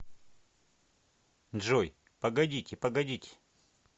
джой погодите погодите